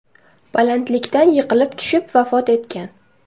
balandlikdan yiqilib tushib vafot etgan.